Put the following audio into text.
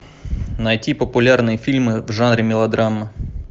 найти популярные фильмы в жанре мелодрама